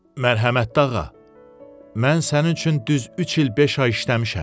Mərhəmətd ağa, mən sənin üçün düz üç il beş ay işləmişəm.